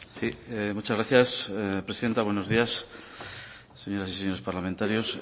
sí muchas gracias presidenta buenos días señoras y señores parlamentarios